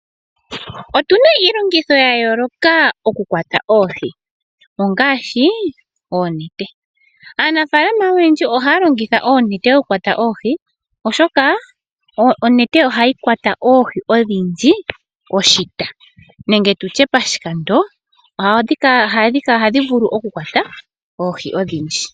Otuna iilongitho ya yooloka oku kwata oohi ongaashi oonete. Aanafaalama oyendji ohaya longitha oonete dhoku kwata oohi, oshoka onete ohayi kwata oohi odhindji oshita nenge tutye pashikando. Ohadhi vulu oku kwata oohi odhindji.